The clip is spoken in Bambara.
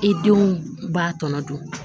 I denw b'a tɔnɔ dun